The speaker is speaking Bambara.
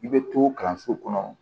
I bɛ to kalanso kɔnɔ